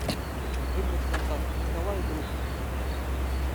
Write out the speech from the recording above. выбрать контакт николай друг